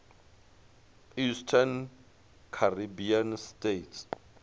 eastern caribbean states